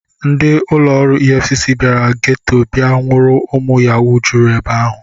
Ndị ụlọ ọrụ EFCC bịara geto bịa nwụrụ ụmụ Yahoo juru ebe ahụ.